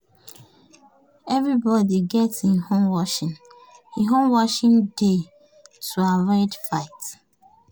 everybody get e own washing e own washing day to avoid fight.